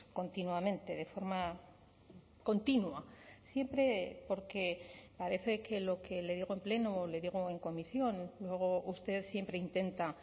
continuamente de forma continua siempre porque parece que lo que le digo en pleno o le digo en comisión luego usted siempre intenta